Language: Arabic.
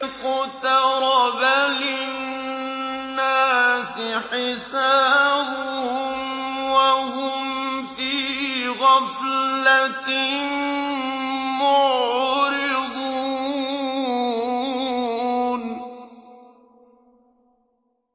اقْتَرَبَ لِلنَّاسِ حِسَابُهُمْ وَهُمْ فِي غَفْلَةٍ مُّعْرِضُونَ